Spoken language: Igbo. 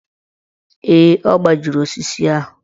Ee, ọ gbajiri osisi ahụ.